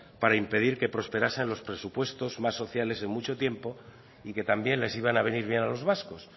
para impedir que prosperasen los presupuestos más sociales en mucho tiempo y que también les iban a venir bien a los vascos